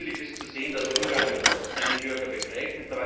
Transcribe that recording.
Zunächst ist positiv zu sehen, dass Ungarn seine Bürger befragt